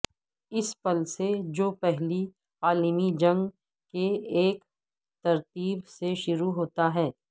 اس پل سے جو پہلی عالمی جنگ کے ایک ترتیب سے شروع ہوتا ہے